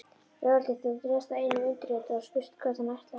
Lögregluþjónn réðst að einum undirritaðra og spurði hvert hann ætlaði.